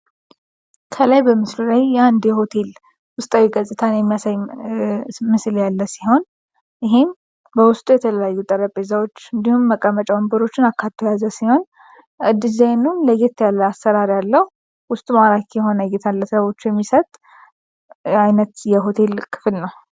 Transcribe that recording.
ከላይ በምስል ላይ እንዲ ሆቴል ውስጣዊ ገጽታን የሚያሳይ ምስል ያለ ሲሆን ይህም በውስጡ የተለላዩ ጠረጴዛዎች እንዲሁም መቀመጫ ወንብሮችን አካቱ ያዘ ሲሆን ዲዛይኑን ለየት ያለ አሠራር ያለው ውስጥ ማራክ የሆነ እየትንለተቦቹ የሚሰት አይነት የሆቴል ክፍል ነው፡፡